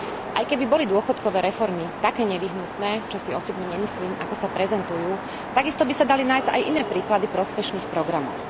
Aj keby boli dôchodkové reformy také nevyhnutné, čo si osobne nemyslím, ako sa prezentujú, takisto by sa dali nájsť aj iné príklady prospešných programov.